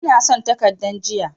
Ina son takaddan ajiya.